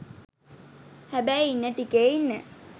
හැබැයි ඉන්න ටිකෙ ඉන්න